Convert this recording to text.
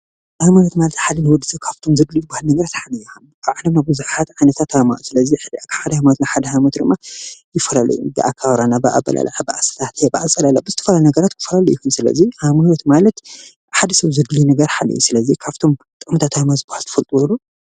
ሃይማኖት ማለት ሓደ ንወዲ ሰብ ካብቶም ዘድልኡ ነገራት ሓደ እዩ። ኣብ ዓለምና ብዙሓት ዓይነታት ሃይማኖታት ኣለው፡፡ ሓደ ሃይማኖት ካብ ሓደ ሃይማኖት ይፈላለዩ እዮም። ብኣከባብራ፣ ብኣበላልዓ፣ ብኣሰታትያን ብኣፀላልያ ብዝተፈላለዩ ይፈላለዩ እዮም። ስለዚ ሃይማኖት ማለት ንሓደ ሰብ ዘድልዮ ነገር እዩ። ስለዚ ካብቶም ጥቅምታት ሃይማኖት ዝበሃሉ ትፈልጥዎ ዶ?